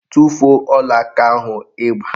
Tufuo ọlaaka ahụ ị gba!